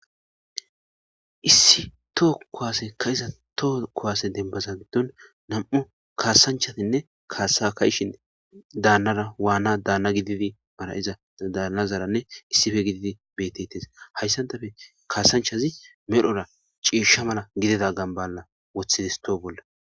Issi toho kowase ka iza toho kowase dembaza giddon nam7u kaasanchasinne kaasa kayshin daannara waana daanna gididi mara7iza daanazaranne issife gididi betetes hayssan dafe kaasanchazi medhora ciisha mala gidida gamballa woththidis too bolla